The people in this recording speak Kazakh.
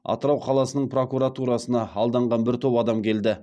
атырау қаласының прокуратурасына алданған бір топ адам келді